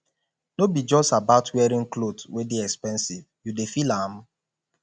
no be just about wearing cloth wey dey expensive you dey feel am